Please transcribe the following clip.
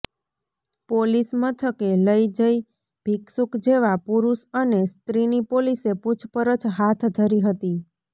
police મથકે લઈ જઈ ભિક્ષુક જેવા પુરૂષ અને સ્ત્રીની પોલીસે પુછપરછ હાથ ધરી હતી